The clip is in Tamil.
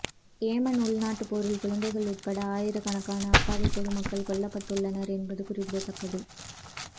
ஏமன் உள்நாட்டுப்போரில் குழந்தைகள் உட்பட ஆயிரக்கணக்கான அப்பாவி பொதுமக்கள் கொல்லப்பட்டுள்ளனர் என்பது குறிப்பிடத்தக்கது